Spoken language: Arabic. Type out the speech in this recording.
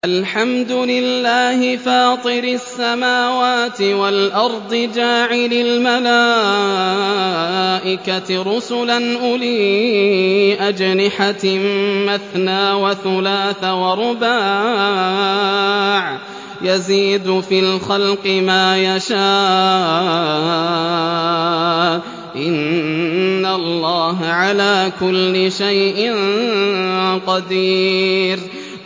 الْحَمْدُ لِلَّهِ فَاطِرِ السَّمَاوَاتِ وَالْأَرْضِ جَاعِلِ الْمَلَائِكَةِ رُسُلًا أُولِي أَجْنِحَةٍ مَّثْنَىٰ وَثُلَاثَ وَرُبَاعَ ۚ يَزِيدُ فِي الْخَلْقِ مَا يَشَاءُ ۚ إِنَّ اللَّهَ عَلَىٰ كُلِّ شَيْءٍ قَدِيرٌ